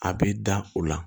A bɛ da u la